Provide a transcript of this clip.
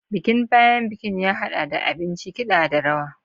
Bikin bayan bikin ya haɗa da abinci, kiɗa, da rawa.